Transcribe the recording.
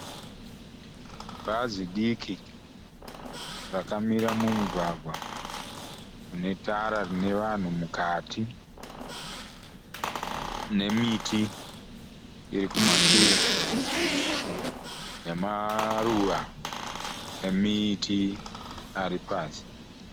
Bhazi diki rakamira mumugwagwa une tara rine vanhu mukati. Nemiti iri kumashure. Nemaruva emiti ari pasi.